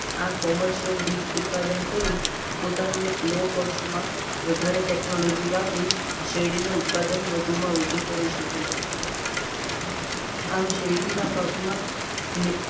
આ Commercial બીજ ઉત્પાદન કરી પોતાનું low cost માં વધારે technology વાપરી શેરડીનું ઉત્પાદન વધુમાં વધુ મેળવી સકાય છે. આમ શેરડીના પાકમાં